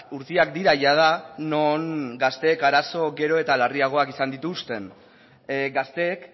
urteak dira jada non gazteek arazo gero eta larriagoak izan dituzten gazteek